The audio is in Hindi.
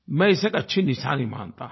मैं इसे एक अच्छी निशानी मानता हूँ